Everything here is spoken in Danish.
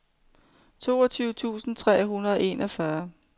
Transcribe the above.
toogtyve tusind tre hundrede og enogfyrre